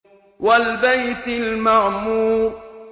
وَالْبَيْتِ الْمَعْمُورِ